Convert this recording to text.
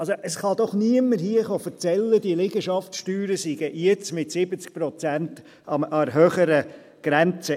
Also: Es kann mir doch hier niemand erzählen, diese Liegenschaftssteuern seien jetzt mit 70 Prozent an der höheren Grenze.